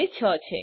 જે ૬ છે